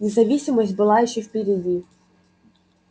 независимость была ещё впереди